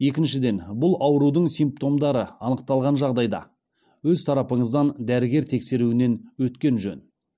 екіншіден бұл аурудың симптомдары анықталған жағдайда өз тарапыңыздан дәрігер тексеруінен өткен жөн